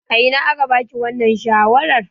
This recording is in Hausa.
A ina aka ba ki wannan shawarar?